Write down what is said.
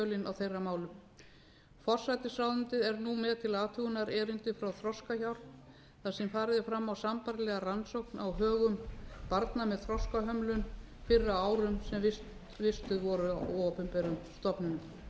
að farið sé ofan í kjölinn á þeirra málum forsætisráðuneytið er nú með til athugunar erindi frá þroskahjálp þar sem farið er fram á sambærilega rannsókn á högum barna með þroskahömlun fyrr á árum sem vistuð voru á opinberum stofnunum